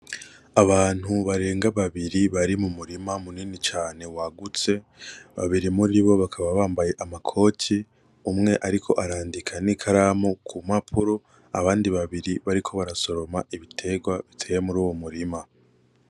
Abantu barenga babiri bari mu murima munini cane wagutse, babiri muribo bakaba bambaye amakoti, umwe ariko arandika n'ikaramu ku mpapuro, abandi babiri bariko barasoroma ibitegwa biteye muruyo murima.